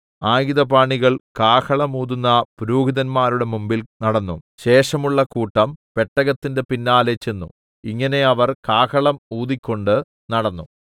ആയുധപാണികൾ കാഹളം ഊതുന്ന പുരോഹിതന്മാരുടെ മുമ്പിൽ നടന്നു ശേഷമുള്ള കൂട്ടം പെട്ടകത്തിന്റെ പിന്നാലെ ചെന്നു ഇങ്ങനെ അവർ കാഹളം ഊതിക്കൊണ്ട് നടന്നു